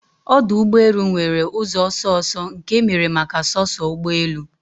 Ọdụ ụgbọ elu nwere ụzọ ọsọ ọsọ nke emere maka soso ụgbọ elu